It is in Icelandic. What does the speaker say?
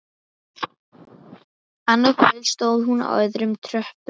Annað kvöld stóð hún á öðrum tröppupalli.